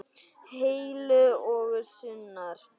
Heill og sannur.